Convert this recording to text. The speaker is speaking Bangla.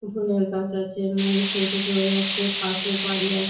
ফুলের গাছ আছে মানুষ হেঁটে চলে যাচ্ছে পাশে বাড়ি আছ--